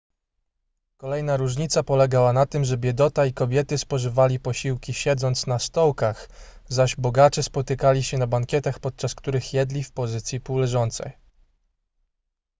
kolejna różnica polegała na tym że biedota i kobiety spożywali posiłki siedząc na stołkach zaś bogacze spotykali się na bankietach podczas których jedli w pozycji półleżącej